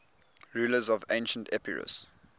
rulers of ancient epirus